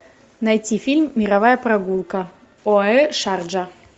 найти фильм мировая прогулка оаэ шарджа